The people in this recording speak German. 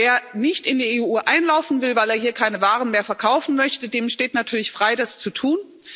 Wer nicht in die EU einlaufen will, weil er hier keine Waren mehr verkaufen möchte, dem steht natürlich frei, das zu tun.